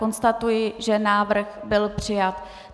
Konstatuji, že návrh byl přijat.